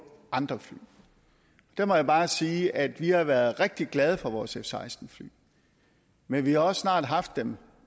andre fly der må jeg bare sige at vi har været rigtig glade for vores f seksten fly men vi har også haft dem